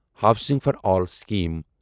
housing for all scheme